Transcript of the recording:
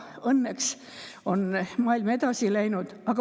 Õnneks on maailm edasi läinud.